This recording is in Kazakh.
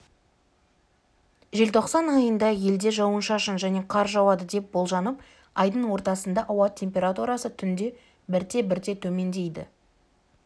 желтоқсан айында елде жауын-шашын және қар жауады деп болжанып айдың ортасында ауа температурасы түнде бірте-бірте төмендейді